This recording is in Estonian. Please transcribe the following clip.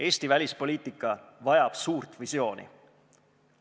Eesti välispoliitika vajab suurt visiooni.